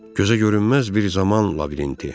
Gözə görünməz bir zaman labirinti.